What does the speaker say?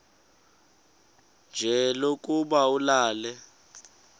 nje lokuba ulale